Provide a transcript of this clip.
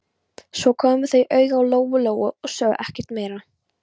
Svo komu þau auga á Lóu-Lóu og sögðu ekkert meira.